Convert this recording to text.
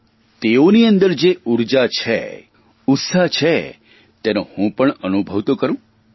તેમને જોઉં તો ખરો તેઓની અંદર જે ઊર્જા છે ઉત્સાહ છે તેનો હું પણ અનુભવ તો કરૂં